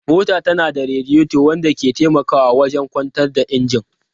Mota tana da radiator wanda ke taimakawa wajen kwantar da injin.